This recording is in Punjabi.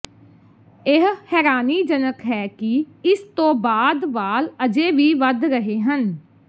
ਇਹ ਹੈਰਾਨੀਜਨਕ ਹੈ ਕਿ ਇਸ ਤੋਂ ਬਾਅਦ ਵਾਲ ਅਜੇ ਵੀ ਵਧ ਰਹੇ ਹਨ